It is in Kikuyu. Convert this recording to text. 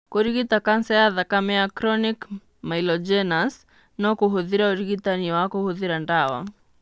Kũrigita kanca ya thakame ya chronic myelogenous no kũhũthĩre ũrigitani wa kũhũthĩra ndawa.